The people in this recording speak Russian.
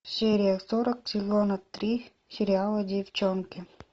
серия сорок сезона три сериала девчонки